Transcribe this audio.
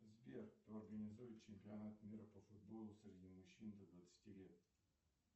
сбер кто организует чемпионат мира по футболу среди мужчин до двадцати лет